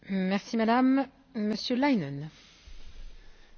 Frau Präsidentin, Frau Kommissarin, liebe Kolleginnen und Kollegen!